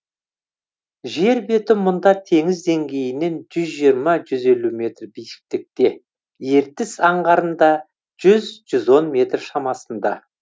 жер беті мұнда теңіз деңгейінен жүз жиырма жүз елу метр биіктікте ертіс аңғарында жүз жүз он метр шамасында